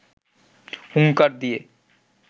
হুঙ্কার দিয়ে